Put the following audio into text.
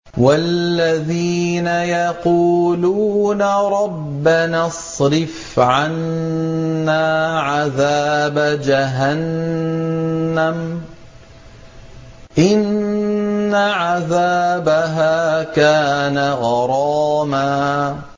وَالَّذِينَ يَقُولُونَ رَبَّنَا اصْرِفْ عَنَّا عَذَابَ جَهَنَّمَ ۖ إِنَّ عَذَابَهَا كَانَ غَرَامًا